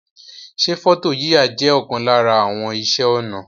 Se foto yiya je okan lara àwon ise onà